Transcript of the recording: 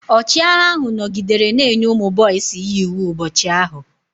Ọchịagha ahụ nọgidere na-enye ụmụ boisi ya iwu ụbọchị ahụ.